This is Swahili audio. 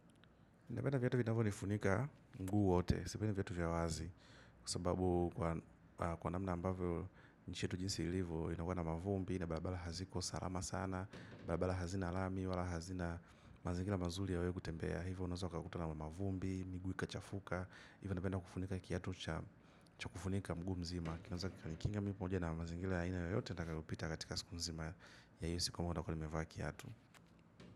Viata vinavyo nifunika mguu wote, sipendi viatu vya wazi, kwa sababu kwa namna ambavyo nchi yetu jinsi ilivyo, inakuwa na mavumbi, na barabara haziko salama sana, bara bara hazina lami, wala hazina mazingira mazuri ya wewe kutembea, hivyo unazo ukakutwa na mavumbi, miguu ikachafuka, hivyo napenda kufunika kiatu changu cha kufunika mguu mzima, kinaeza kunikinga mimi pamoja na mazingira ya aina yoyote nitakayopita katika siku mzima ya hiyo siku ambayo nitakuwa nimevaa kiatu.